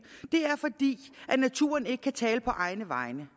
er at naturen ikke kan tale på egne vegne